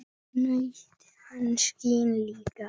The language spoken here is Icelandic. Þar naut hann sín líka.